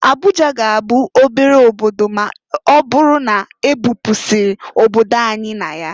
Abuja ga-abụ obere obodo ma ọbụrụ na-ebupu isi obodo anyị na ya.